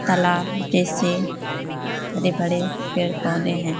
तालाब जैसे बड़े बड़े पेड़ पोधे हैं।